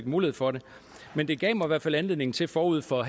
mulighed for det men det gav mig i hvert fald anledning til forud for